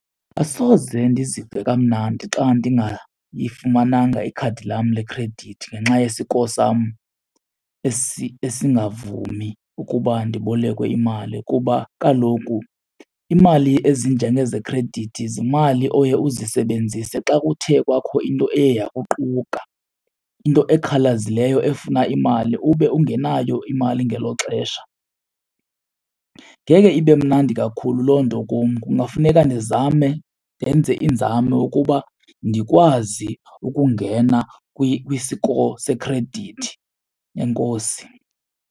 Asoze ndizive kamnandi xa ndingayifumananga ikhadi lam lekhredithi ngenxa ye-score sam esingavumi ukuba ndibolekwe imali. Kuba kaloku imali ezinjengezi zekhredithi zimali oye uzisebenzise xa kuthe kwakho into eye yokuquka, into ekhawulezileyo efuna imali ube ungenayo imali ngelo xesha. Ngeke ibe mnandi kakhulu loo nto kum, kungafuneka ndizame ndenze iinzame ukuba ndikwazi ukungena kwi-score sekhredithi. Enkosi.